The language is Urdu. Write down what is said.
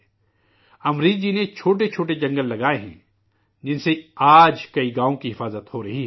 امریش جی نے چھوٹے چھوٹے جنگل لگائے ہیں، جن سے آج کئی گاؤں کی حفاظت ہو رہی ہے